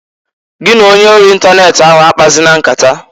Gi na onye ori ịntanet ahụ akpazina nkata!